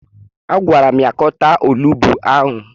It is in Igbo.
Agwara m ya ka ọ taa olugbu ahụ!